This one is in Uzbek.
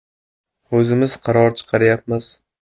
O‘zimiz qaror chiqaryapmiz.